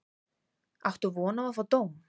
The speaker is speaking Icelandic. Áttu von á að fá dóm?